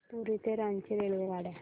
पुरी ते रांची रेल्वेगाड्या